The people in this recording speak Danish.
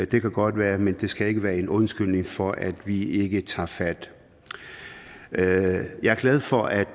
det kan godt være men det skal ikke være en undskyldning for at vi ikke tager fat jeg er glad for at